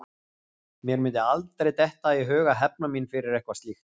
Mér mundi aldrei detta í hug að hefna mín fyrir eitthvað slíkt.